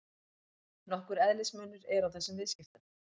Nokkur eðlismunur er á þessum viðskiptum.